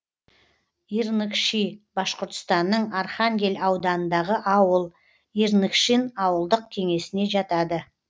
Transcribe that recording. ирныкши башқұртстанның архангель ауданындағы ауыл ирныкшин ауылдық кеңесіне жатады